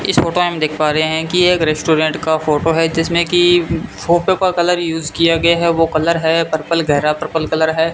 इस फोटो में देख पा रहे हैं कि एक रेस्टोरेंट का फोटो है जिसमें की फोटो का कलर यूज किया गया है वो कलर है पर्पल गहरा पर्पल कलर है।